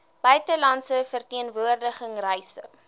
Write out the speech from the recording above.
buitelandse verteenwoordiging reise